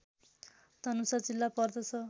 धनुषा जिल्ला पर्दछ